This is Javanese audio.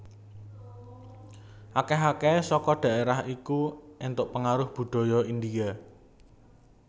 Akèh akèhé saka dhaérah iku antuk pangaruh budaya India